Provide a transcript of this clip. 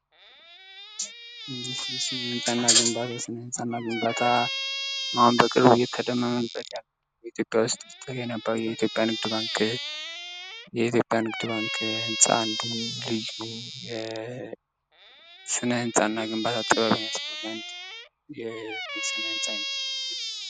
ስነ-ህንፃና ግንባታ:- ስነ-ህንፃና ግንባታ አሁን በቅርብ እየተደመምንበት ያለዉ በኢትዮጵያ ዉስጥ የኢትዮጵያ ንግድ ባንክ ህንፃ አንዱ ልዩ ስነ-ህንፃና ግንባታ ጥበብ የሚያሳይ የስነ-ህንፃ አይነት ነዉ።